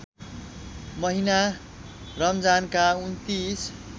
महिना रमजानका २९